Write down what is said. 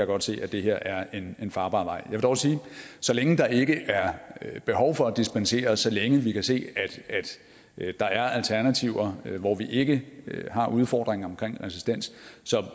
godt se at det her er en farbar vej vil dog sige at så længe der ikke er behov for at dispensere så længe vi kan se at der er alternativer hvor vi ikke har udfordringer omkring resistens